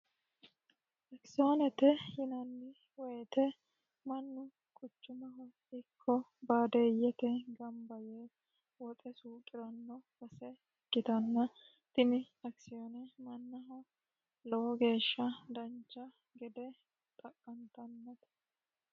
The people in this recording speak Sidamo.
Akisiyonette yinani woyite mannu quchumaho ikko baadiyette gamibba Yee woxe suuqiranno base ikkitana tini akisiyone mannaho lowo geeshsha danicha gede xa'qanitanote